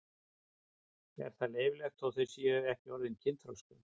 Er það leyfilegt þótt þau séu ekki orðin kynþroska?